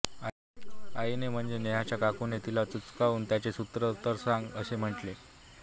आईने म्हणजे नेहाच्या काकूने तिला चुचकारून त्याचे सूत्र तर सांग असे म्हटले